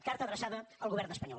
carta adreçada al govern espanyol